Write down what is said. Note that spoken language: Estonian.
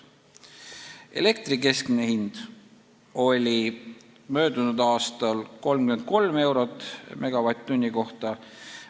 Elektri keskmine hind oli möödunud aastal 33 eurot megavatt-tunni kohta.